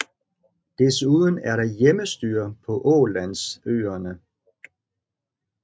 Desuden er der hjemmestyre på Ålandsøerne